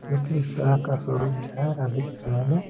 जो कि इस तरह का शो रूम जो है न अभी के समय मे--